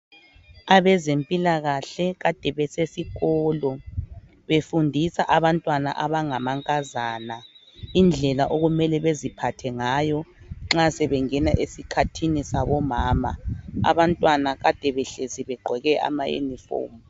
Abezempilakahle kade besesikolo befundisa abantwana abangamankazana indlela okumele beziphathe ngayo nxa sebengena esikhathini sabomama abantwana kade behlezi begqoke ama uniform.